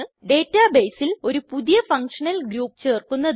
data ബെയിസിൽ ഒരു പുതിയ ഫങ്ഷനൽ ഗ്രൂപ്പ് ചേർക്കുന്നതിന്